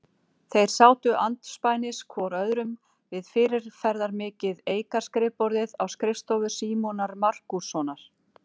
Þeir sátu andspænis hvor öðrum við fyrirferðarmikið eikarskrifborðið á skrifstofu Símonar Markússonar.